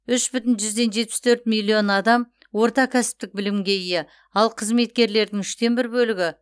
үш бүтін жүзден жетпіс төрт миллион адам орта кәсіптік білімге ие ал қызметкерлердің үштен бір бөлігі